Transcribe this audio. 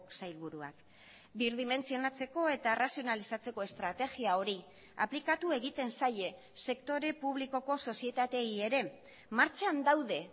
sailburuak birdimentzionatzeko eta arrazionalizatzeko estrategia hori aplikatu egiten zaie sektore publikoko sozietateei ere martxan daude